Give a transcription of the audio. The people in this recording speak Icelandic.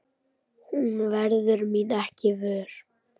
Hún verður mín ekki vör.